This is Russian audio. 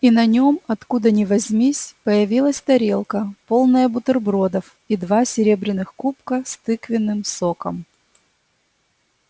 и на нём откуда ни возьмись появилась тарелка полная бутербродов и два серебряных кубка с тыквенным соком